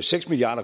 seks milliard